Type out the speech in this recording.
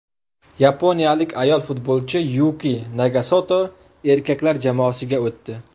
Yaponiyalik ayol futbolchi Yuki Nagasoto erkaklar jamoasiga o‘tdi.